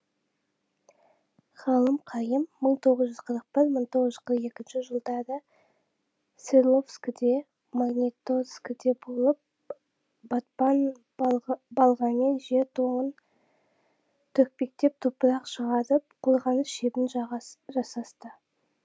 ғалым қайым мың тоғыз жүз қырық бір мың тоғыз жүз қырық екінші жылдары свердловскіде магниторскіде болып батпан балғамен жер тоңын төкпектеп топырақ шығарып қорғаныс шебін жасасты